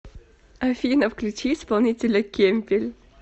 афина включи исполнителя кемпель